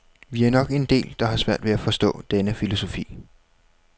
Vi er nok en del, der har svært ved at forstå denne filosofi.